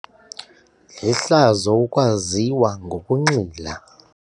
Lihlazo ukwaziwa ngokunxila.